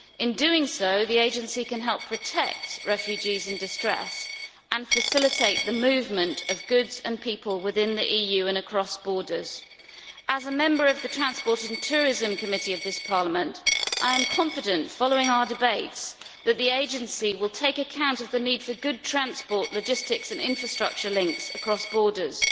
In doing so, it can help protect refugees in distress and facilitate the movement of goods and people within the EU and across borders. As a member of Parliament's Committee on Transport and Tourism, I am confident, following our debates, that the agency will take account of the need for good transport logistics and infrastructure links across borders,